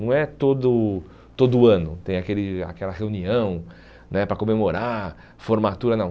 Não é todo todo ano, tem aquele aquela reunião né para comemorar, formatura, não.